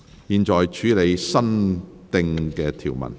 現在處理新訂條文。